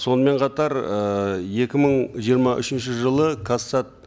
сонымен қатар ы екі мың жиырма үшінші жылы казсат